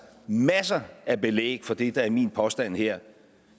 masser af belæg for det der er min påstand her